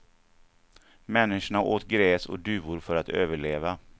Människorna åt gräs och duvor för att överleva.